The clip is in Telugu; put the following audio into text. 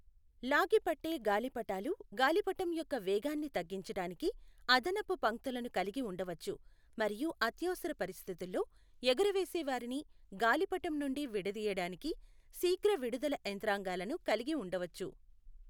లాగి పట్టే గాలిపటాలు గాలిపటం యొక్క వేగాన్ని తగ్గించటానికి అదనపు పంక్తులను కలిగి ఉండవచ్చు మరియు అత్యవసర పరిస్థితుల్లో ఎగురవేసేవారిని గాలిపటం నుండి విడదీయడానికి శీఘ్ర విడుదల యంత్రాంగాలను కలిగి ఉండవచ్చు.